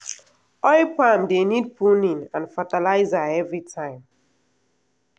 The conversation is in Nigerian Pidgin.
oil palm dey need pruning and fertilizer everytime.